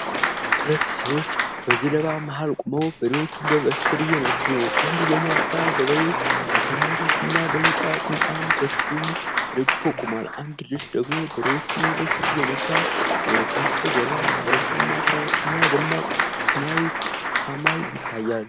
ሁለት ሰዎች በገለባ መሃል ቆመው በሬዎችን በበትር እየነዱ ነው። አንድ ጎልማሳ ገበሬ በሰማያዊ ልብስና በቢጫ ጥምጣም በትሩን ተደግፎ ቆሟል። አንድ ልጅ ደግሞ በሬዎቹን ወደ ፊት እየነዳ ነው። ከበስተጀርባ ኮረብታማ ተራሮች እና ደማቅ ሰማያዊ ሰማይ ይታያል።